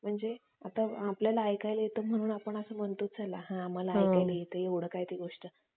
आणि तो असं दिमाग लावतो का हे बिस्किटं कुठून येतंय त्याला माहित नसतो म्हणजे ते समंदर मध्ये transfer होण्यासाठी ह्याचंच अं अं म्हणजे